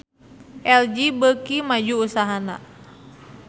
LG beuki maju usahana